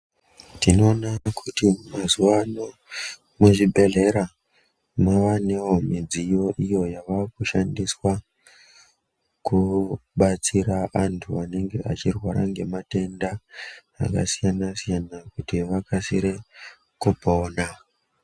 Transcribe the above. Tinoona kuti mazuvaano muzvibhedhlera mavanewo midziyo iyo yavakushandiswa kubatsira antu anenge achirwara ngematenda akasiyana-siyana kuti vakasire kupona.